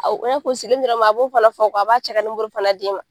Awo o y'a ko sigi n bɛrɛ ma a b'o fana fɔ a b'a cɛ ka fana d'i ma.